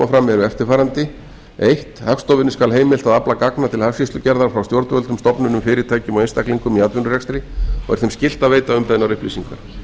fram eru eftirfarandi fyrsta hagstofunni skal heimilt að afla gagna til hagskýrslugerðar frá stjórnvöldum stofnunum fyrirtækjum og einstaklingum í atvinnurekstri og er þeim skylt að veita umbeðnar upplýsingar